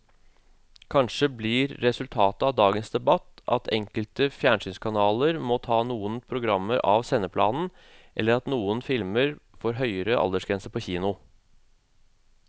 Kanskje blir resultatet av dagens debatt at enkelte fjernsynskanaler må ta noen programmer av sendeplanen eller at noen filmer får høyere aldersgrense på kino.